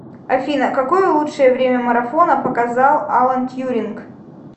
афина какое лучшее время марафона показал алан тьюринг